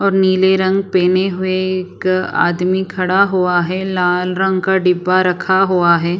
और नीले रंग पहने हुए एक आदमी खड़ा हुआ है लाल रंग का डिब्बा रखा हुआ है।